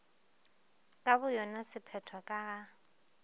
ka boyona sephetho ka ga